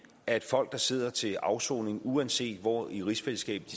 at folk der sidder til afsoning uanset hvor i rigsfællesskabet